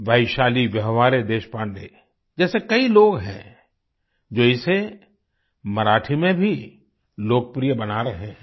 वैशाली व्यवहारे देशपांडे जैसे कई लोग हैं जो इसे मराठी में भी लोकप्रिय बना रहे हैं